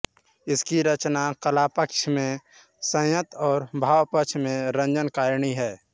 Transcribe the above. इनकी रचना कलापक्ष में संयत और भावपक्ष में रंजनकारिणी है